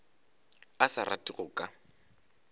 a sa rate go ka